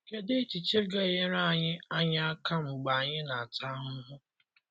Kedụ echiche ga - enyere anyị anyị aka mgbe anyị na - ata ahụhụ?